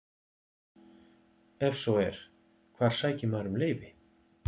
Ef svo er, hvar sækir maður um leyfi?